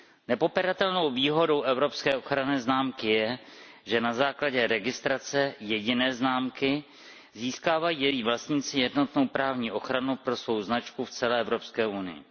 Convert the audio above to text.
Nepopiratelnou výhodou evropské ochranné známky je, že na základě registrace jediné známky získávají její vlastníci jednotnou právní ochranu pro svou značku v celé Evropské unii.